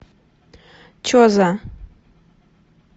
че за